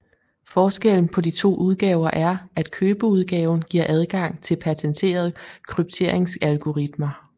Forskellen på de to udgaver er at købeudgaven giver adgang til patenterede krypteringsalgoritmer